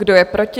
Kdo je proti?